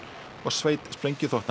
og sveit